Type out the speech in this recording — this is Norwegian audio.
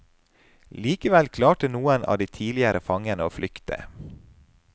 Likevel klarte noen av de tidligere fangene å flykte.